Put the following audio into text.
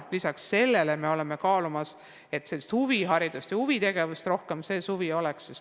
Lisaks sellele kaalume, kuidas võiks ka huvitegevust suvel rohkem olla.